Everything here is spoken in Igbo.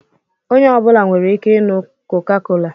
Onye ọ bụla nwere ike ịnụ koka-kola